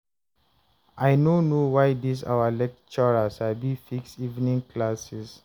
I no know why dis our lecturer sabi fix evening classes